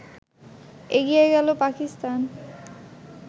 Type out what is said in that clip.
এগিয়ে গেল পাকিস্তান